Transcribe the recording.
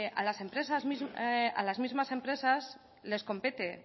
a las mismas empresas les compete